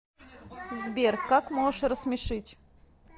сбер как можешь рассмешить